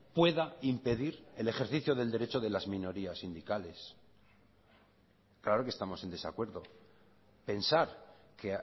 pueda impedir el ejercicio del derecho de las minorías sindicales claro que estamos en desacuerdo pensar que